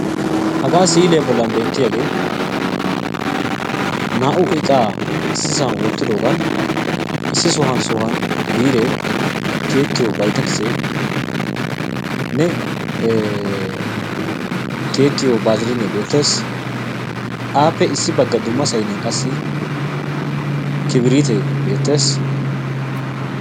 hagaa siiliyaa boollan beetiyaage naa"u iqaa issisaan wootidogan issi sohuwaan sohuwaan biiree tiyettiyoo biytekisenne tiyettiyoo bazilinee beettees. Appe issi baggan qassi kibrittee beettees.